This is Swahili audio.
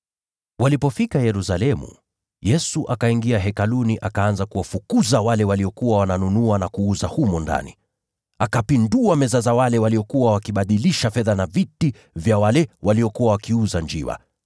Walipofika Yerusalemu, Yesu akaingia katika eneo la Hekalu, akaanza kuwafukuza wale waliokuwa wakinunua na kuuza humo ndani. Akazipindua meza za wale waliokuwa wakibadilisha fedha, na pia viti vya wale waliokuwa wakiuza njiwa,